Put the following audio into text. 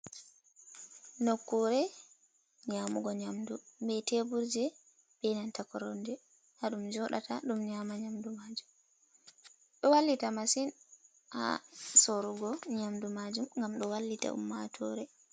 Nokkure nyamugo nyamdu be teburje be nanta koromje. Ha ɗum joɗata, ɗum nyama nyamdu majum. Ɗo wallita masin ha sorugo nyamdu majum gam ɗo wallita ummatore.